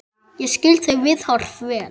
Ég skil þau viðhorf vel.